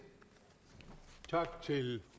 til